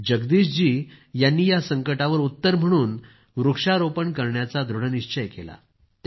जगदीशजी यांनी या संकटावर उत्तर म्हणून वृक्षारोपण करण्याचा दृढनिश्चय केला